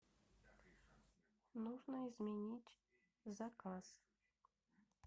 нужно изменить заказ